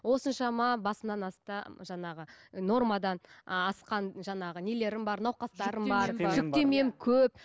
осыншама басымнан асқан жаңағы нормадан ы асқан жаңағы нелерім бар науқастарым бар жүктемем көп